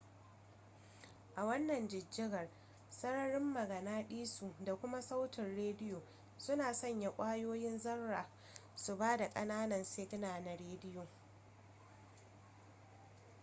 a wannan jijjigar sararin maganaɗiso da kuma sautin rediyo suna sanya ƙwayoyin zarra su ba da ƙananan sigina na rediyo